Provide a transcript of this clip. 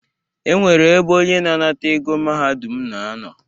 E nwere ebe onye na-anata ego Mahadum na-anọ.